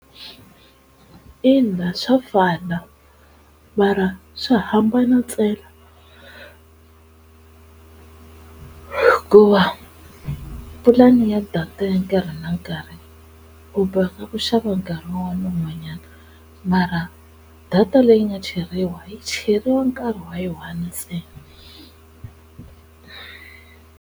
Ina swa fana mara swi hambana ntsena ku va pulani ya data ya nkarhi na nkarhi u boheka ku xava nkarhi un'wana un'wanyana mara data leyi nga cheriwa yi cheriwa nkarhi wa yi one ntsena.